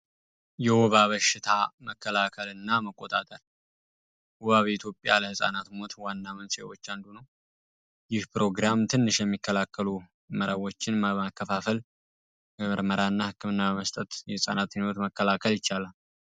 የወባ በሽታ መከላከልና መቆጣጠር በኢትዮጵያ ለህፃናት ሞት ከሆኑ በሽታዎች ውስጥ አንዱ ነው ከተለያዩ ፕሮግራሞች ውስጥ አንዱ ነው በተለያዩ መረቦችን በማከፋፈል በነጻና በመያዝ የህፃናትን ህይወት መታደግ ይቻላል።